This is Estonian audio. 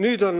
Nüüd on